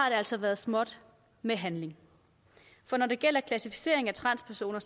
altså været småt med handling for når det gælder klassificeringen af transpersoner